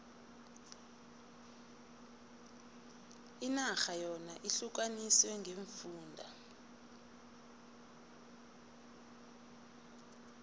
inarha yona ihlukaniswe ngeemfunda